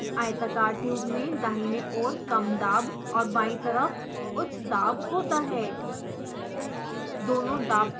इस केस में आयताकार ट्यूब में दाहिनी ओर कम दाब और बाईं तरफ उच्च दाब होता है